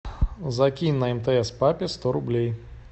закинь на мтс папе сто рублей